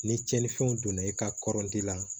Ni tiɲɛnifɛnw donna i ka kɔrɔli la